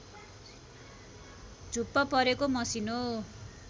झुप्प परेको मसिनो